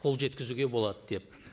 қол жеткізуге болады деп